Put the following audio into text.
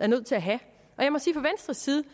er nødt til at have og jeg må sige